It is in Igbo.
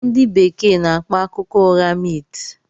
Ndị Bekee n'akpọ akụkọ ụgha 'myth'